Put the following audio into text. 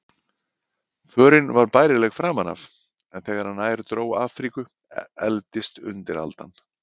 Förin var bærileg framan af, en þegar nær dró Afríku efldist undiraldan.